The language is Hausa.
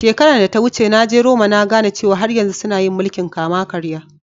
Shekaran da ta wuce, na je Roma na gane cewa har yanzu suna yin mulki'n kama-karya.